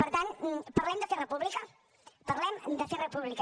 per tant parlem de fer república parlem de fer república